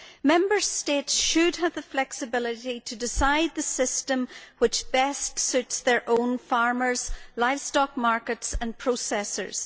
Member States should have the flexibility to decide the system which best suits their own farmers, livestock markets and processors.